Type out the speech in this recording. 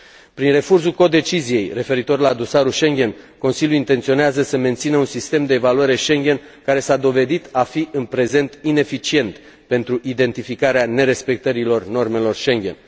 Prin refuzul codeciziei referitor la dosarul Schengen, Consiliul intenționează să mențină un sistem de evaluare Schengen care s a dovedit a fi, în prezent, ineficient pentru identificarea nerespectării normelor Schengen.